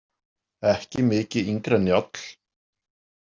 Ekki mikið yngri en Njáll.